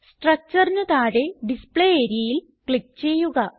structureന് താഴെയുള്ള ഡിസ്പ്ലേ areaയിൽ ക്ലിക്ക് ചെയ്യുക